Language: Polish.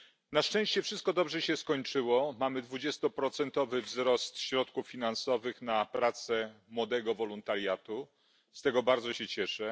Na szczęście wszystko dobrze się skończyło, mamy dwudziestoprocentowy wzrost środków finansowych na pracę młodego wolontariatu z tego bardzo się cieszę.